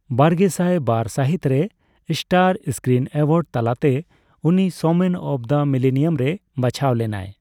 ᱵᱟᱨᱜᱮᱥᱟᱭ ᱵᱟᱨ ᱥᱟᱹᱦᱤᱛ ᱨᱮ ᱥᱴᱟᱨ ᱥᱠᱨᱤᱱ ᱮᱳᱣᱟᱨᱰᱥ ᱛᱟᱞᱟᱛᱮ ᱩᱱᱤ 'ᱥᱳᱢᱮᱱ ᱚᱯᱷ ᱫᱟ ᱢᱤᱞᱮᱱᱤᱭᱟᱢ'ᱨᱮ ᱵᱟᱪᱷᱟᱣ ᱞᱮᱱᱟᱭ ᱾